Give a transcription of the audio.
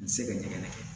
N tɛ se ka ɲɛgɛn kɛ